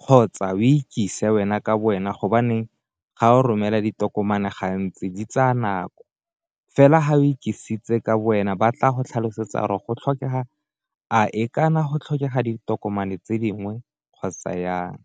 kgotsa o ikise wena ka bo wena gobaneng ga o romela ditokomane gantsi di tsaya nako, fela ga o ikisitse ka bo wena ba tla go tlhalosetsa re go tlhokega a e ka na go tlhokega ditokomane tse dingwe kgotsa jang.